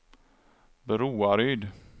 Broaryd